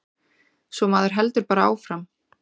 Svo maður heldur bara áfram.